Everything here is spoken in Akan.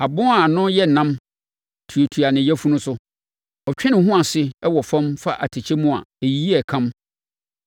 Abon a ano yɛ nnam tuatua ne yafunu so. Ɔtwe ne ho ase wɔ fam fa atɛkyɛ mu a, ɛyiyi akam.